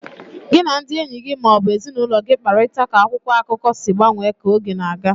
Gị na ndị enyi gị ma ọ bụ ezinụlọ gị kparịta ka akwụkwọ akụkọ si gbanwee ka oge na-aga.